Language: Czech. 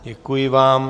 Děkuji vám.